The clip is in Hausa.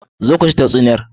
Zo ku ji tatsuniyar.